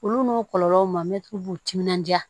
Olu n'o kɔlɔlɔw ma mɛtiri b'u timinandiya